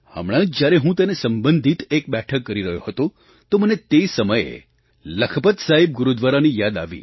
હમણાં જ જ્યારે હું તેને સંબંધિત એક બેઠક કરી રહ્યો હતો તો મને તે સમયે લખપત સાહિબ ગુરુદ્વારાની યાદ આવી